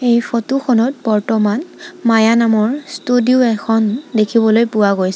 এই ফটো খনত বৰ্তমান মায়া নামৰ ষ্টুডিও এখন দেখিবলৈ পোৱা গৈছে।